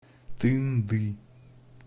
тынды